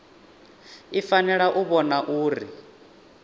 i fanela u vhona uri